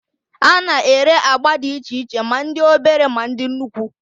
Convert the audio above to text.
A na-ere agba dị iche iche, ma ndị obere, ma dị nnukwu